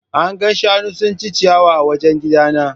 An ga shanu suna cin ciyawa a wajen gidana.